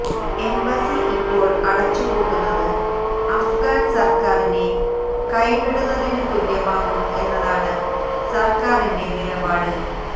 embassy ഇപ്പോൾ അടച്ചു പൂട്ടുന്നത് അഫ്ഗാൻ സർക്കാരിനെ കൈവിടുന്നതിന് തുല്യമാകും എന്നതാണ് സർക്കാരിന്റെ നിലപാട്